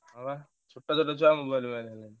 ହଁ ବା ଛୋଟ ଛୋଟ ଛୁଆ mobile ବାୟା ହେଲେଣି।